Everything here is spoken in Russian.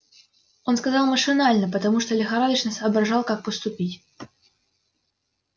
он сказал машинально потому что лихорадочно соображал как поступить